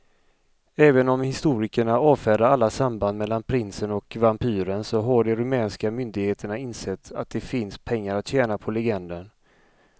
Även om historikerna avfärdar alla samband mellan prinsen och vampyren så har de rumänska myndigheterna insett att det finns pengar att tjäna på legenden.